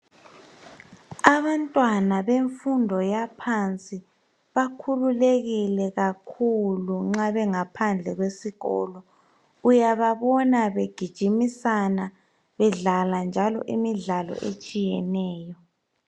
Abantwana bemfundo yaphansi bakhululekile kakhulu nxa bengaphandle kwesikolo, uyababona begijimisana bedlala njalo imidlalo etshiyeneyo.